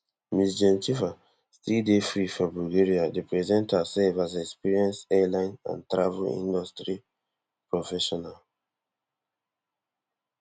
ms gencheva still dey free for bulgaria dey present herself as experienced airline and travel industry professional